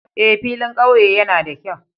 Eh, filin ƙauye yana da kyau